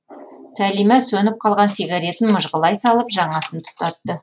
сәлима сөніп қалған сигаретін мыжғылай салып жаңасын тұтатты